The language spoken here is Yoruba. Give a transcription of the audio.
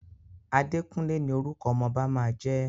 Àdékúnlé ní orúkọ ọmọ ọba máa jẹ́.